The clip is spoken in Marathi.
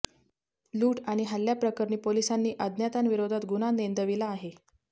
लूट अणि हल्ल्याप्रकरणी पोलिसांनी अज्ञातांविरोधात गुन्हा नेंदविला आहे